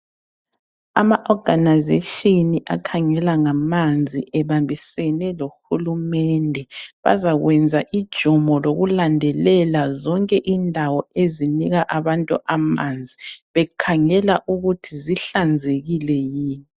Ama organisation akhangela ngamanzi ebambisene lohulumende bazakwenza ijumo lokulandelela zonke indawo ezinika abantu amanzi bekhangela ukuthi zihlanzekile yini?